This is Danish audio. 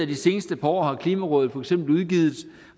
de seneste par år har klimarådet for eksempel udgivet